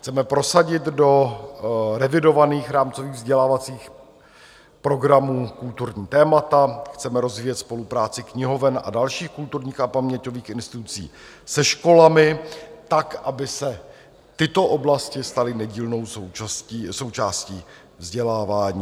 Chceme prosadit do revidovaných rámcových vzdělávacích programů kulturní témata, chceme rozvíjet spolupráci knihoven a dalších kulturních a paměťových institucí se školami tak, aby se tyto oblasti staly nedílnou součástí vzdělávání.